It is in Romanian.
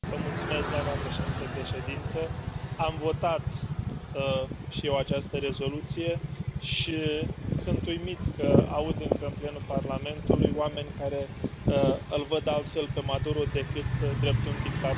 Doamnă președintă de ședință, am votat și eu această rezoluție și sunt uimit că aud încă în plenul Parlamentului oameni care îl văd altfel pe Maduro decât drept un dictator.